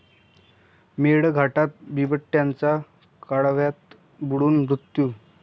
मेळघाटात बिबट्याचा कालव्यात बुडून मृत्यू